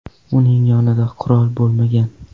Uning yonida qurol bo‘lmagan.